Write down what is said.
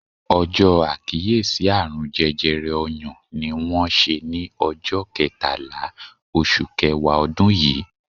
Ọjọ àkíyèsí àrùn jẹjẹrẹ ọyàn ni wón ṣe ni ọjọ ketala oṣù kẹwàá odun yii